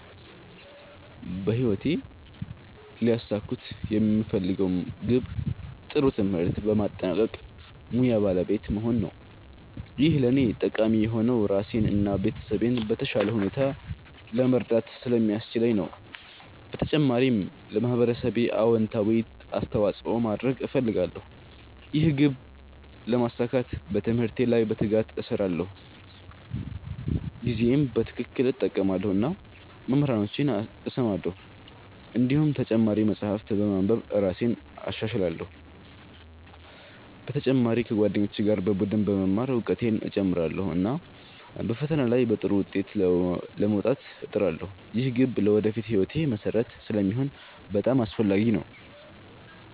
በህይወቴ ሊያሳኩት የምፈልገው ግብ ጥሩ ትምህርት በማጠናቀቅ ሙያ ባለቤት መሆን ነው። ይህ ለእኔ ጠቃሚ የሆነው ራሴን እና ቤተሰቤን በተሻለ ሁኔታ ለመርዳት ስለሚያስችለኝ ነው። በተጨማሪም ለማህበረሰቤ አዎንታዊ አስተዋፅኦ ማድረግ እፈልጋለሁ። ይህን ግብ ለማሳካት በትምህርቴ ላይ በትጋት እሰራለሁ፣ ጊዜዬን በትክክል እጠቀማለሁ እና መምህራኖቼን እሰማለሁ። እንዲሁም ተጨማሪ መጻሕፍት በማንበብ እራሴን እሻሻላለሁ። በተጨማሪ ከጓደኞቼ ጋር በቡድን በመማር እውቀቴን እጨምራለሁ፣ እና በፈተና ላይ በጥሩ ውጤት ለመውጣት እጥራለሁ። ይህ ግብ ለወደፊት ሕይወቴ መሠረት ስለሚሆን በጣም አስፈላጊ ነው።